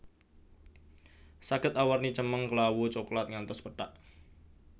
Saged awarni cemeng klawu coklat ngantos pethak